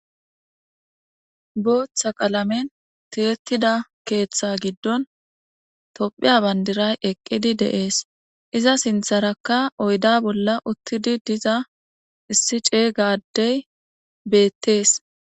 booththa qalamen tiyettida keeththa giddon tophiya bandiray eqqidi deees iza sintharakka oyda bolla uttidi diza issi cey gaddey beettees